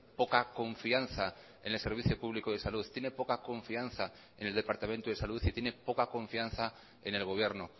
poca confianza en el servicio público de salud tiene poca confianza en el departamento de salud y tiene poca confianza en el gobierno